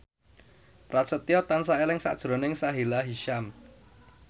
Prasetyo tansah eling sakjroning Sahila Hisyam